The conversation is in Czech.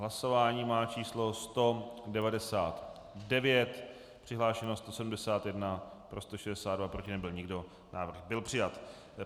Hlasování má číslo 199, přihlášeno 171, pro 162, proti nebyl nikdo, návrh byl přijat.